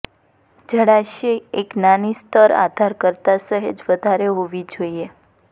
જળાશય એક નાની સ્તર આધાર કરતા સહેજ વધારે હોવી જોઈએ